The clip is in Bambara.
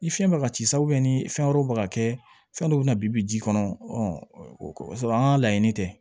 Ni fiɲɛ bɛ ka ci sa ni fɛn wɛrɛw bɛ ka kɛ fɛn dɔw bɛ na bi bi ji kɔnɔ o b'a sɔrɔ an ka laɲini tɛ